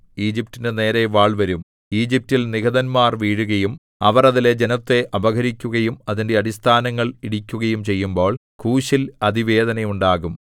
ഈജിപ്റ്റിന്റെ നേരെ വാൾവരും ഈജിപ്റ്റിൽ നിഹതന്മാർ വീഴുകയും അവർ അതിലെ ജനത്തെ അപഹരിക്കുകയും അതിന്റെ അടിസ്ഥാനങ്ങൾ ഇടിക്കുകയും ചെയ്യുമ്പോൾ കൂശിൽ അതിവേദനയുണ്ടാകും